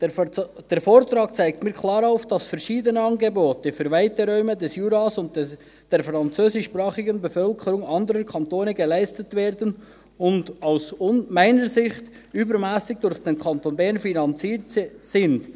Der Vortrag zeigt klar auf, dass verschiedene Angebote für weite Räume des Juras und die französischsprachige Bevölkerung anderer Kantone geleistet werden und – aus meiner Sicht – übermässig durch den Kanton finanziert sind.